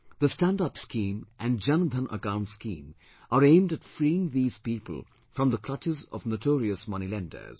The stand up scheme and Jan Dhan account scheme are aimed at freeing these people from the clutches of notorious moneylenders